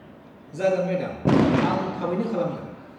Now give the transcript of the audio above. जागोन मेडाम, आं थाबैनो खालामगोन।